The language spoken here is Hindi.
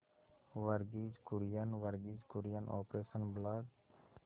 Verghese Kurien Verghese Kurien operation blood